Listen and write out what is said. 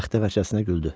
Bəxtəvər kəsinə güldü.